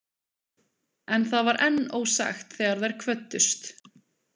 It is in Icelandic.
En það var enn ósagt þegar þær kvöddust.